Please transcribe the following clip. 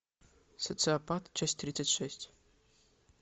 социопат часть тридцать шесть